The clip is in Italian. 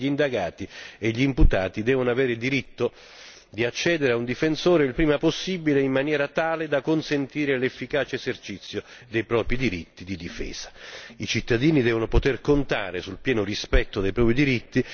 Questa relazione sancisce il principio di base secondo cui tutti gli indagati e gli imputati devono avere il diritto di accedere a un difensore il prima possibile, in maniera tale da consentire l'efficace esercizio dei propri diritti di difesa.